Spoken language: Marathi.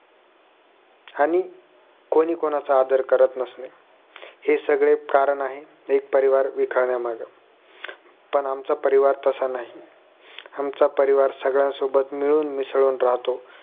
आणि कोणीकोणाचा आदर करत नसणे हे सगळे कारण आहे एक परिवार विखरण्या मागं पण आमचं परिवार तसं नाही आमचा परिवार सगळ्या सोबत मिळूनमिसळून राहतो